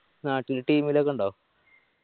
നാട്ടില് team ലോക്കെ ഇണ്ടോ